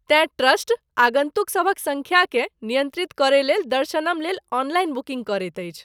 तेँ ट्रस्ट आगन्तुकसभक सङ्ख्याकेँ नियन्त्रित करयलेल दर्शनम लेल ऑनलाइन बुकिन्ग करैत अछि।